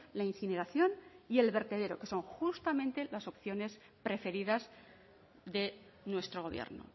la incineración y el vertedero que son justamente las opciones preferidas de nuestro gobierno